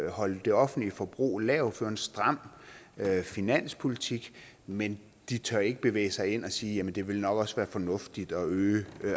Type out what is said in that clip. holde det offentlige forbrug lavt føre en stram finanspolitik men de tør ikke begive sig ud i at sige jamen det vil nok også være fornuftigt at øge